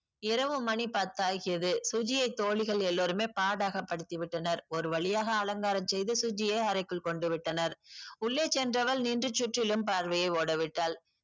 இரவு மணி பத்தாகியது சுஜியை தோழிகள் எல்லாருமே பாடாக படுத்திவிட்டனர் ஒருவழியாக அலங்காரம் செய்து சுஜியை அறைக்குள் கொண்டுவிட்டனர் உள்ளே சென்றவள் நின்று சுற்றிலும் பார்வையை ஓடவிட்டால்